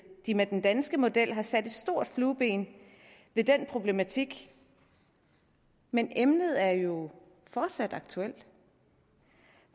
de med den danske model har sat et stort flueben ved den problematik men emnet er jo fortsat aktuelt